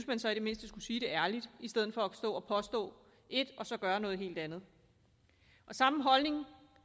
man så i det mindste skulle sige det ærligt i stedet for at stå og påstå et og så gøre noget helt andet samme holdning